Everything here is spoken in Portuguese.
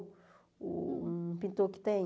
O pintor que tem?